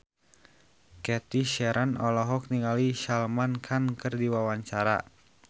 Cathy Sharon olohok ningali Salman Khan keur diwawancara